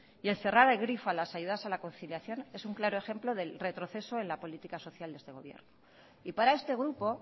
y cerrar el grifo a las ayudas a la conciliación es un claro ejemplo del retroceso en la política social de este gobierno y para este grupo